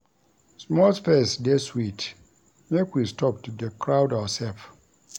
Small space dey sweet, make we stop to dey crowd oursef.